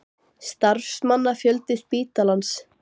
Starfsmannafjöldi spítalans?